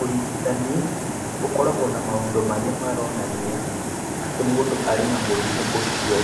Ũrigitani ũkoragwo na maũndũ marĩa maronania atĩ mũndũ arĩ na mũrimũ ũcio.